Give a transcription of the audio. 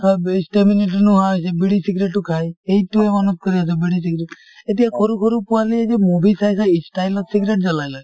হয় বে stamina নোহোৱা হৈছে , বিড়ি চিগাৰেটও খায় এইটো বিড়ি চিগাৰেট । এতিয়া সৰু সৰু পোৱালিয়ে যে movie চাই চাই style ত cigarette জ্বলাই লয়